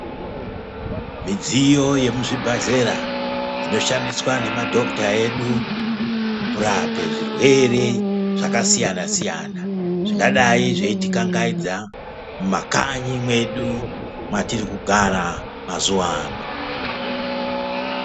Midziyo yemuzvibhadhlera inoshandiswa ngemadhokuta edu kurape zvirwere zvakasiyana siyana zvingadai zveitikangaidza mumakanyi mwedu mwatirikugara mazuwa ano.